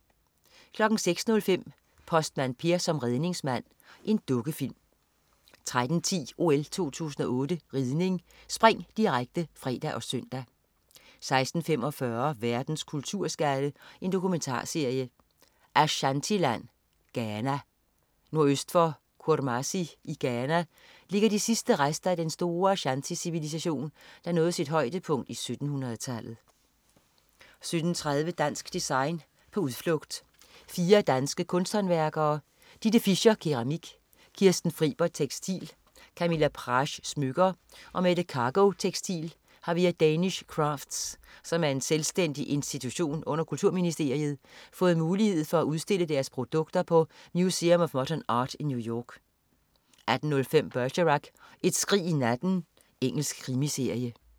06.05 Postmand Per som redningsmand. Dukkefilm 13.10 OL 2008 ridning: Spring, direkte (fre og søn) 16.45 Verdens kulturskatte. Dokumentarserie. "Ashanti-land, Ghana". Nordøst for Kurmasi i Ghana ligger de sidste rester af den store ashante-civilisation, der nåede sit højdepunkt i 1700 -tallet 17.30 Dansk Design, på udflugt. Fire danske kunsthåndværkere: Ditte Fischer (keramik), Kirsten Fribert (tekstil), Camilla Prasch (smykker) og Mette Kargo (tekstil) har via Danish Crafts, som er en selvstændig institution under Kulturministeriet, fået mulighed for at udstille deres produkter på Museum of Modern Art i New York 18.05 Bergerac: Et skrig i natten. Engelsk krimiserie